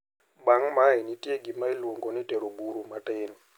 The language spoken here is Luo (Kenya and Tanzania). Bang` mae nitie gima iluongo ni tero buru matin.